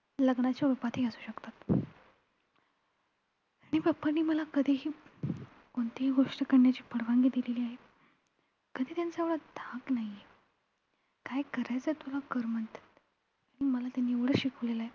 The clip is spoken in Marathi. आणि papa नी मला कधीही, कोणतीही गोष्ट करण्याची परवानगी दिलेली आहे. कधी त्यांचा एवढा धाक नाहीये. काय करायचं तुला कर म्हणतात. आणि त्यांनी मला एवढं शिकवलेलं आहे.